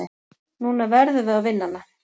Núna verðum við að vinna hana.